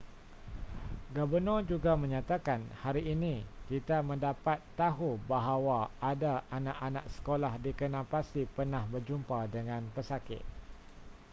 gabenor juga menyatakan hari ini kita mendapat tahu bahawa ada anak-anak sekolah dikenal pasti pernah berjumpa dengan pesakit